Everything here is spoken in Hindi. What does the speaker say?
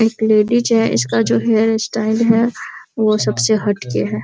एक लेडीज है इसका जो हेयर स्टाइल है वो सबसे हट के है।